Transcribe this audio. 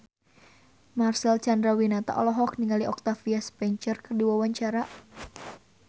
Marcel Chandrawinata olohok ningali Octavia Spencer keur diwawancara